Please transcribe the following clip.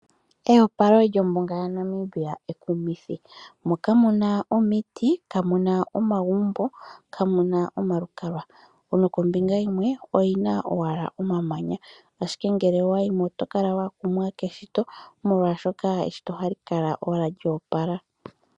Eyopalo lyombuga yaNamibia ekumithi oshoka kamu na omiti, omagumbo nosho wo omalukalwa kombiga yimwe oku na omamanya.